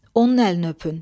Onun əlini öpün.